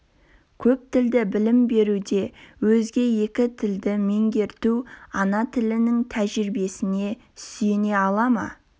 көптілді білім беруде өзге екі тілді меңгерту ана тілінің тәжірибесіне сүйене ала ма